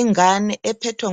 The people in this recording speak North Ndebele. Ingane ephethwe